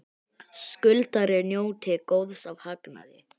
Skuldari njóti góðs af hagnaði